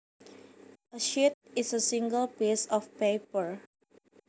A sheet is a single piece of paper